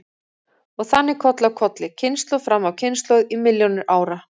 Og þannig koll af kolli, kynslóð fram af kynslóð í milljónir ára.